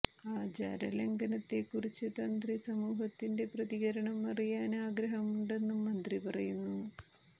ആചാര ലംഘനത്തെക്കുറിച്ച് തന്ത്രി സമൂഹത്തിന്റെ പ്രതികരണം അറിയാന് ആഗ്രഹമുണ്ടെന്നും മന്ത്രി പറയുന്നു